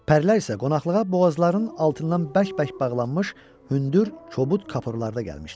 Pərilər isə qonaqlığa boğazlarının altından bərk-bərk bağlanmış hündür, kobud kapurlarda gəlmişdilər.